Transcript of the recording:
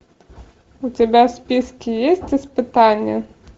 у тебя в списке есть испытания